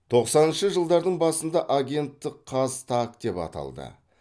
тоқсаныншы жылдардың басында агенттік қазтаг деп аталды